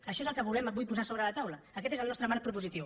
això és el que volem avui posar sobre la taula aquest és el nostre marc propositiu